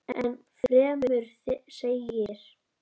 Enn fremur segir